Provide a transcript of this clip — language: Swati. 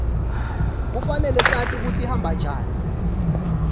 kufanele sati kutsi ihamba njani